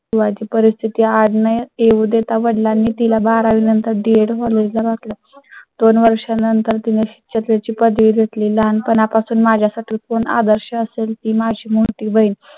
वाजे परिस्थिती आणि येऊ देता वडिलां नी तिला बारा वी नंतर DEDcollege घातल्या. दोन वर्षानंतर त्याच्या ची पदवी घेतली. लहानपणापासून माझ्या साठी. आदर्श असेल ती माझी मोठी बहिण